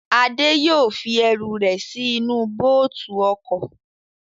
Adé yóò fi ẹrù rẹ̀ sí inú bóòtù ọkọ̀